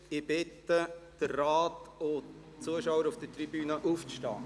Ich bitte die Ratsmitglieder und die Zuschauer auf der Tribüne, aufzustehen.